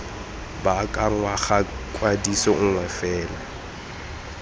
baakanngwa ga kwadiso nngwe fela